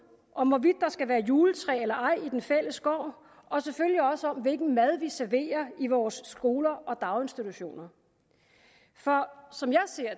om hvorvidt der skal være juletræ eller ej i den fælles gård og selvfølgelig også om hvilken mad vi serverer i vores skoler og daginstitutioner for som jeg ser